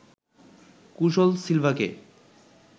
কুশল সিলভাকে